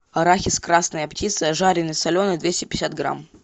арахис красная птица жареный соленый двести пятьдесят грамм